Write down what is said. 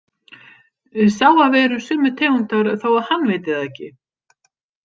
Sá að við erum sömu tegundar þó að hann viti það ekki.